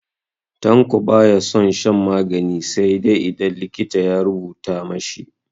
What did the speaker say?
Tanko ba ya son shan magani sai idan likita ya rubuta ma shi.